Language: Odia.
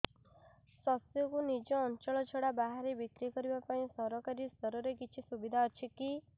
ଶସ୍ୟକୁ ନିଜ ଅଞ୍ଚଳ ଛଡା ବାହାରେ ବିକ୍ରି କରିବା ପାଇଁ ସରକାରୀ ସ୍ତରରେ କିଛି ସୁବିଧା ଅଛି କି